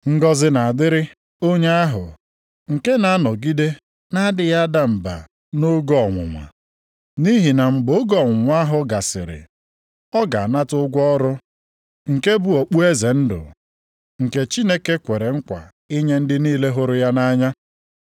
Ngọzị na-adịrị onye ahụ nke na-anọgide na-adịghị ada mba nʼoge ọnwụnwa. Nʼihi na mgbe oge ọnwụnwa ahụ gasịrị, ọ ga-anata ụgwọ ọrụ, nke bụ okpueze ndụ, nke Chineke kwere nkwa inye ndị niile hụrụ ya nʼanya.